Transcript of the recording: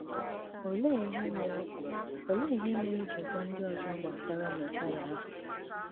Olèé ìhè mèrè Olèé ìhè mèrè ì jì gwà ndị̀ ọzọ̀ gbasàrà Mèzáíà ahụ̀?